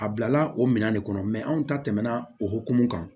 A bilala o minɛn de kɔnɔ anw ta tɛmɛna o hokumu kan